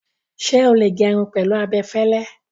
Ṣé o lè gẹrun pẹ̀lú abẹ fẹ́lẹ́?